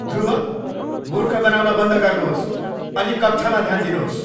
ध्रुव, मूर्ख बनाउन बन्द गर्नुहोस् अनि कक्षामा ध्यान दिनुहोस्!